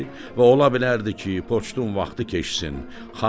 və ola bilərdi ki, poçtun vaxtı keçsin.